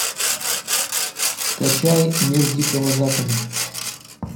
скачай мир дикого запада